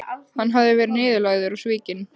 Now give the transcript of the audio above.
Hann hafði verið niðurlægður og svikinn.